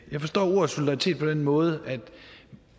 jeg forstår ordet solidaritet på den måde at